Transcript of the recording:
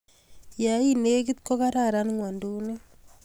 ya I negit ko kararan ng'wanduni